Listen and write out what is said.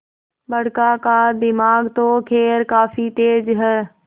बड़का का दिमाग तो खैर काफी तेज है